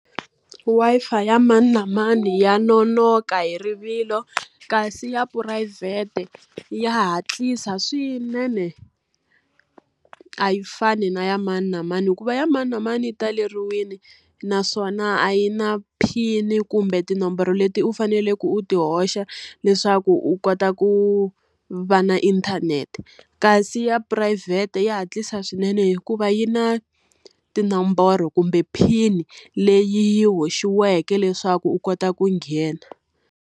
Wi-Fi ya mani na mani ya nonoka hi rivilo, kasi ya phurayivhete ya hatlisa swinene. A yi fani na ya mani na mani, hikuva ya mani na mani yi taleriwile. Naswona a yi na PIN-i kumbe tinomboro leti u faneleke u ti hoxa leswaku u kota ku va na inthanete, kasi ya phurayivhete ya hatlisa swinene hikuva yi na tinomboro kumbe PIN-i leyi haxiweke leswaku u kota ku nghena.